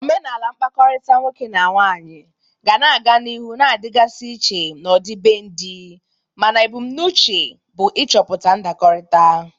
Omenala mkpakọrịta nwoke na nwaanyị ga na-aga n'ihu na-adịgasị iche n'ọdịbendị, mana ebumnuche bụ ịchọpụta ndakọrịta.